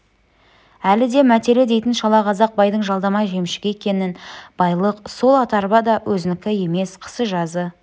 әлі де мәтелі дейтін шалақазақ байдың жалдама жемшігі екен байлық сол ат-арба да өзінікі емес қысы-жазы